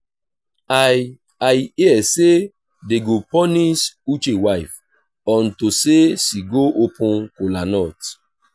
i i hear say dey go punish uche wife unto say she go open kola nut